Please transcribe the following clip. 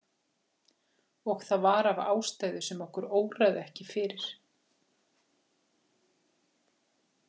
Og það var af ástæðu sem okkur óraði ekki fyrir.